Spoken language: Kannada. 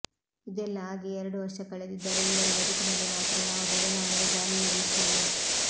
ಇದೆಲ್ಲಾ ಆಗಿ ಎರಡು ವರ್ಷ ಕಳೆದಿದ್ದರೂ ಇವರ ಬದುಕಿನಲ್ಲಿ ಮಾತ್ರ ಯಾವ ಬದಲಾವಣೆಯ ಗಾಳಿಯೂ ಬೀಸಿಲ್ಲ